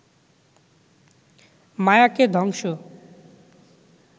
মায়াকে ধ্বংস